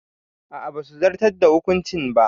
A'a basu zartar da hukuncin ba.